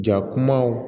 Ja kumaw